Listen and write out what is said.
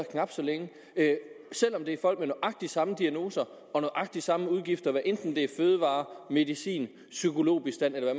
knap så længe selv om det er folk med nøjagtig samme diagnoser og nøjagtig samme udgifter hvad enten det er til fødevarer medicin psykologbistand eller